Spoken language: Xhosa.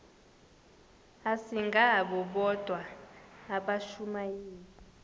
asingabo bodwa abashumayeli